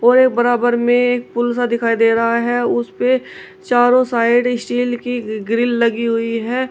और एक बराबर में एक पुल सा दिखाई दे रहा है उसपे चारों साइड स्टील की ग्रील लगी हुई है।